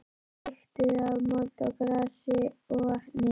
Lyktuðu af mold og grasi og vatni.